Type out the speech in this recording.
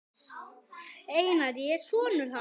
Einar, ég er sonur. hans.